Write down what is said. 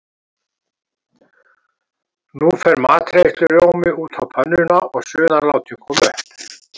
Nú fer matreiðslurjómi út á pönnuna og suðan látin koma upp.